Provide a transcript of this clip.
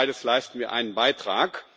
Für beides leisten wir einen Beitrag.